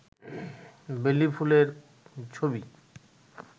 বেলি ফুলের ছবি